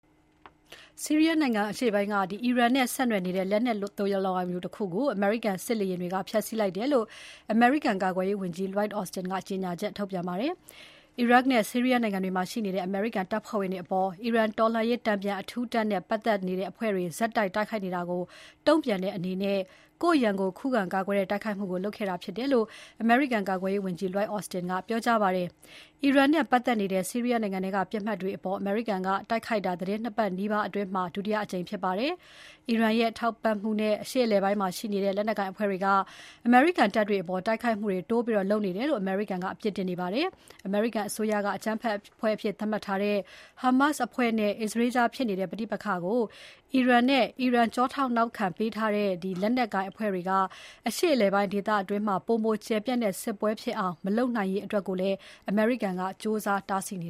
ဆီးရီးယားနိုင်ငံအရှေ့ပိုင်းက အီရန်နဲ့ဆက်နွယ်နေတဲ့ လက်နက်သိုလှောင်ရုံတခုကို အမေရိကန်စစ်လေယာဉ်တွေက ဖျက်ဆီးလိုက်တယ်လို့ အမေရိကန်ကာကွယ်ရေးဝန်ကြီး Lloyd Austin က ပြောကြားလိုက်ပါတယ်။ အီရတ်နဲ့ ဆီးရီးယားနိုင်ငံတွေမှာရှိနေတဲ့ အမေရိကန်တပ်ဖွဲ့ဝင်တွေအပေါ် အီရန်တော်လှန်ရေးတန်ပြန် အထူးတပ်နဲ့ ပါတ်သက်တဲ့အဖွဲ့တွေ ဆက်တိုက် တိုက်ခိုက်နေတာကို တုံ့ပြန်တဲ့အနေနဲ့ ကိုယ့်ရန်ကို ခုခံကာကွယ်တဲ့တိုက်ခိုက်မှုကို လုပ်ခဲ့တာဖြစ်တယ်လို့ အမေရိကန်ကာကွယ်ရေးဝန်ကြီး Lloyd Austin က ကြေညာချက်ထုတ်ပြန်ပါတယ်။ အီရန်နဲ့ပတ်သက်နေတဲ့ ဆီရီးယားနိုင်ငံထဲက ပစ်မှတ်တွေအပေါ် အမေရိကန်က တိုက်ခိုက်တာ သီတင်း ၂ ပတ်နီးပါးအတွင်းမှာ ဒုတိယအကြိမ်ဖြစ်ပါတယ်။ အီရန်ရဲ့ ထောက်ပံ့မှုနဲ့ အရှေ့အလယ်ပိုင်းမှာရှိတဲ့ လက်နက်ကိုင်အဖွဲ့တွေက အမေရိကန်တပ်တွေအပေါ် တိုက်ခိုက်မှုတွေ တိုးလုပ်နေတယ်လို့ အမေရိကန်က အပြစ်တင်နေပါတယ်။ အမေရိကန်အစိုးရက အကြမ်းဖက်အဖွဲ့အဖြစ်သတ်မှတ်ထားတဲ့ ဟာမတ်စ်အဖွဲ့နဲ့ အစ္စရေးကြားဖြစ်နေတဲ့ ပဋိပက္ခကို အီရန်နဲ့ အီရန်ထောက်ပံ့ထားတဲ့လက်နက်ကိုင်အဖွဲ့တွေက အရှေ့အလယ်ပိုင်းဒေသတွင်း ပိုမိုကျယ်ပြန့်တဲ့ စစ်ပွဲဖြစ်အောင် မလုပ်နိုင်ရေးအတွက်ကိုလည်း အမေရိကန်က ကြိုးစားတားဆီးနေ